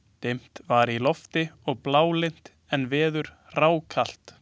Dimt var í lofti og blálygnt en veður hrákalt.